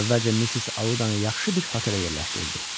Əvvəlcə Missis Audanı yaxşı bir hotelə yerləşdirdi.